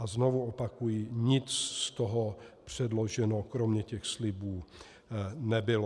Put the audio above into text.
A znovu opakuji, nic z toho předloženo kromě těch slibů nebylo.